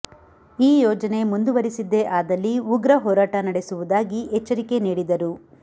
ಈ ಯೋಜನೆ ಮುಂದುವರೆಸಿದ್ದೇ ಆದಲ್ಲಿ ಉಗ್ರ ಹೋರಾಟ ನಡೆಸುವುದಾಗಿ ಎಚ್ಚರಿಕೆ ನೀಡಿದರು